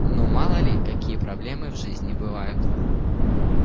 ну мало ли какие проблемы в жизни бывают